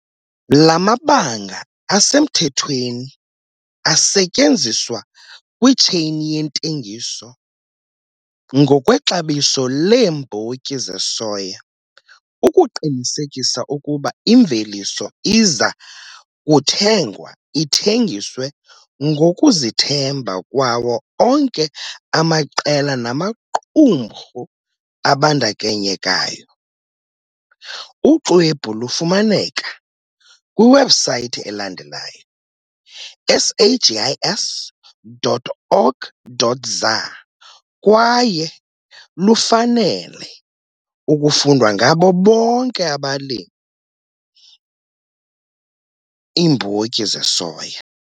La mabanga asemthethweni asetyenziswa kwitsheyini yentengiso ngokwexabiso leembotyi zesoya ukuqinisekisa ukuba imveliso iza kuthengwa ithengiswe ngokuzithemba kwawo onke amaqela namaqumrhu abandakanyekayo. Uxwebhu lufumaneka kwiwebhusayithi elandelayo- sagis.org.za kwaye lufanele ukufundwa ngabo bonke abalimi, iimbotyi zesoya.